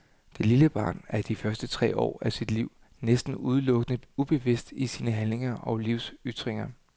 Det lille barn er i de første tre år af sit liv næsten udelukkende ubevidst i sine handlinger og livsytringer.